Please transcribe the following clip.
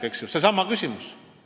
See on seesama küsimus.